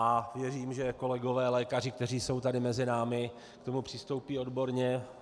A věřím, že kolegové lékaři, kteří jsou tady mezi námi, k tomu přistoupí odborně.